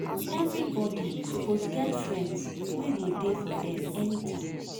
Everybodi suppose get friends wey go dey for dem anytime.